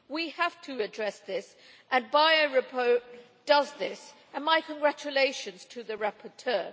We have to address this, and the Bayet report does this and my congratulations to the rapporteur.